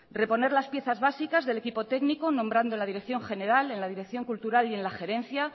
reponer las piezas básicas del equipo técnico nombrando en la dirección general en la dirección cultural y en la gerencia